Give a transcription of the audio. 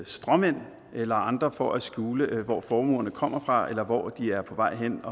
stråmænd eller andre for at skjule hvor formuerne kommer fra eller hvor de er på vej hen